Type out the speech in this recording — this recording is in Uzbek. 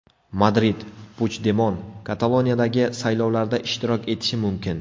Madrid: Puchdemon Kataloniyadagi saylovlarda ishtirok etishi mumkin.